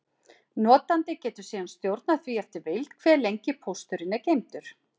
Notandi getur síðan stjórnað því eftir vild, hve lengi pósturinn er geymdur.